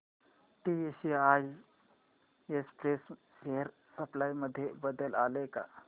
TCI express share price मध्ये बदल आलाय का